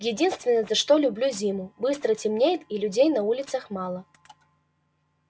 единственное за что люблю зиму быстро темнеет и людей на улицах мало